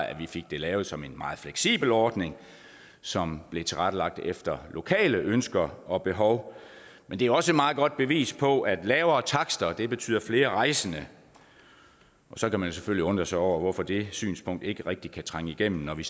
at man fik det lavet som en meget fleksibel ordning som blev tilrettelagt efter lokale ønsker og behov men det er også et meget godt bevis på at lavere takster betyder flere rejsende så kan man selvfølgelig undre sig over hvorfor det synspunkt ikke rigtig kan trænge igennem når vi